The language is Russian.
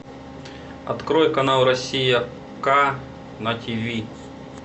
открой канал россия к на тиви